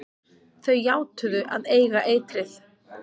Þau játuðu að eiga eitrið.